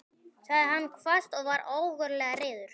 sagði hann hvasst og var ógurlega reiður.